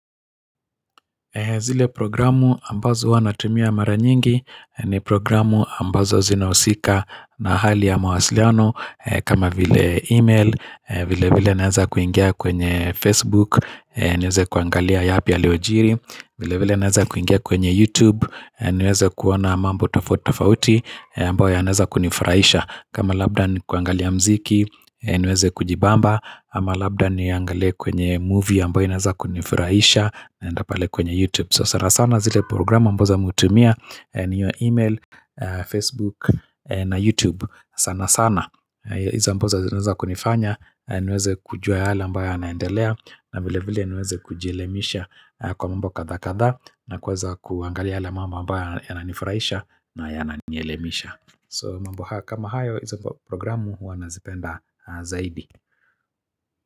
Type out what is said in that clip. Zile programu ambazo huwanatumia mara nyingi ni programu ambazo zinahusika na hali ya mawasiliano kama vile email, vile vile naeza kuingia kwenye Facebook, niweze kuangalia yaapi ya yaliojiri. Vile vile naweza kuingia kwenye YouTube niweze kuona mambo tofutofauti ambayo yanaweza kunifurahisha kama labda ni kuangalia mziki niweze kujibamba Ama labda niangale kwenye movie ambayo inaweza kunifurahisha Ndapale kwenye YouTube So sara sana zile programu ambazo hutumia Niyo email, Facebook na YouTube sana sana Izo amboza zinaweza kunifanya niweze kujua yale ambayo yanaendelea na vile vile niweze kujilemisha Kwa mambo kadha kadha na kuweza kuangalia la mambo ambayo yananifurahisha na yana nielemisha So mambo kama hayo iza mba programu huwa nazipenda zaidi.